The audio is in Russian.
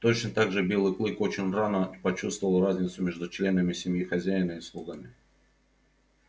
точно так же белый клык очень рано почувствовал разницу между членами семьи хозяина и слугами